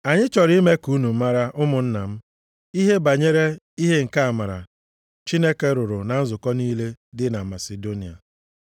Anyị chọrọ ime ka unu mara, ụmụnna m, ihe banyere ihe nke amara Chineke rụrụ na nzukọ niile dị na Masidonia.